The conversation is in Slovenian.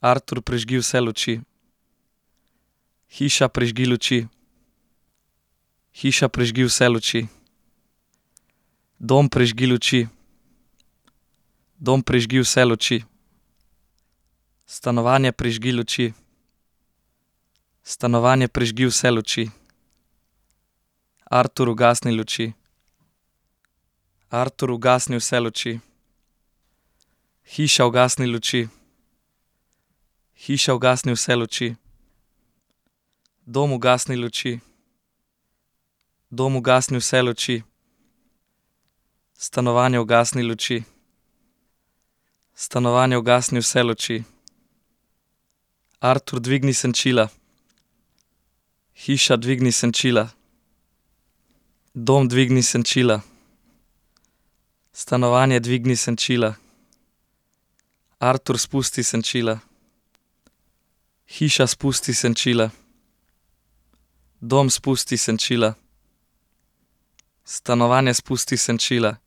Artur, prižgi vse luči. Hiša, prižgi luči. Hiša, prižgi vse luči. Dom, prižgi luči. Dom, prižgi vse luči. Stanovanje, prižgi luči. Stanovanje, prižgi vse luči. Artur, ugasni luči. Artur, ugasni vse luči. Hiša, ugasni luči. Hiša, ugasni vse luči. Dom, ugasni luči. Dom, ugasni vse luči. Stanovanje, ugasni luči. Stanovanje, ugasni vse luči. Artur, dvigni senčila. Hiša, dvigni senčila. Dom, dvigni senčila. Stanovanje, dvigni senčila. Artur, spusti senčila. Hiša, spusti senčila. Dom, spusti senčila. Stanovanje, spusti senčila.